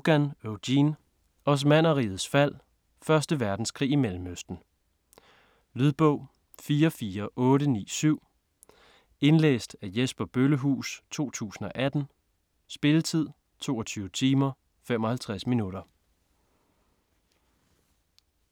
Rogan, Eugene: Osmannerrigets fald: første verdenskrig i Mellemøsten Lydbog 44897 Indlæst af Jesper Bøllehuus, 2018. Spilletid: 22 timer, 55 minutter.